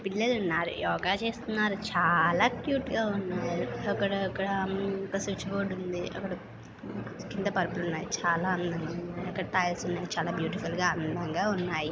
పిల్లలున్నారు యోగా చేస్తున్నారు. చాలా క్యూట్ గా ఉన్నారు. అక్కడ అక్కడ హ్మ్ ఒక స్విచ్ బోర్డ్ ఉంది. అక్కడ కింద పరుపులున్నాయి. చాలా అందంగా ఉన్నాయి. అక్కడ టైల్స్ ఉన్నాయి చాలా బ్యూటీఫుల్ గా అందంగా ఉన్నాయి.